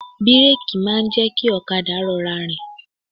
Bíréèkì máa ń jẹ́ kí ọ̀kadà rọra rìn.